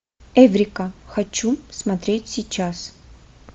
эврика хочу смотреть сейчас